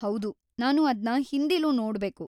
ಹೌದು, ನಾನು ಅದ್ನ ಹಿಂದಿಲೂ ನೋಡ್ಬೇಕು.